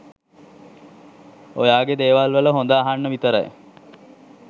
ඔයාගෙ දේවල් වල හොද අහන්න විතරයි